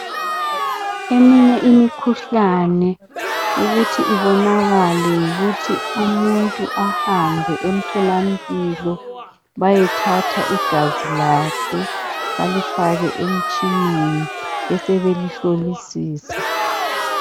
Eminye imikhuhlane ukuthi ibonakele yikuthi umuntu ahambe emthola mpilo ,bayethatha igazi lakhe balifake emtshineni bese belihlolisisa.